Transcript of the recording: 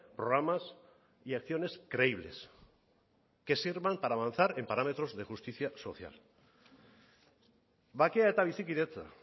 programas y acciones creíbles que sirvan para avanzar en parámetros de justicia social bakea eta bizikidetza